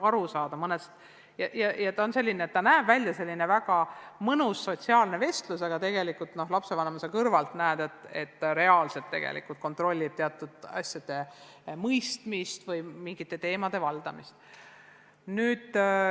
See näeb välja selline mõnus sotsiaalne vestlus, aga tegelikult lapsevanemana kõrvalt näed, et reaalselt õpetaja tegelikult kontrollib teatud asjade mõistmist või mingite teemade valdamist.